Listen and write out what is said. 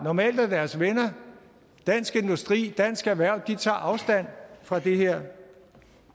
normalt er deres venner dansk industri dansk erhverv tager afstand fra det her